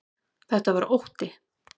Þetta var ótti.